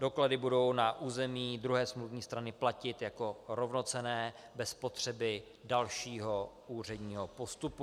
Doklady budou na území druhé smluvní strany platit jako rovnocenné bez potřeby dalšího úředního postupu.